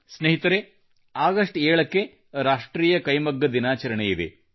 ಸ್ನೇಹಿತರೆ ಆಗಸ್ಟ್ 7 ಕ್ಕೆ ರಾಷ್ಟ್ರೀಯ ಕೈಮಗ್ಗ ದಿನಾಚರಣೆಯಿದೆ